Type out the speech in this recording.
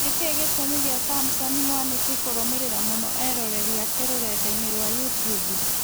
Nĩkĩĩ gĩtũmi gĩa Samson Mwanĩki kũrũmĩrĩra mũno eroreri ake rũrenda-inĩ rwa youtube